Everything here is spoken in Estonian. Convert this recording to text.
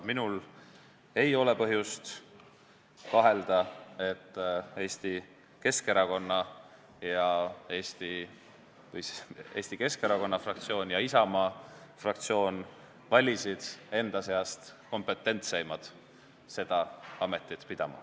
Mul ei ole põhjust kahelda, et Eesti Keskerakonna fraktsioon ja Isamaa fraktsioon valisid enda seast kompetentseimad seda ametit pidama.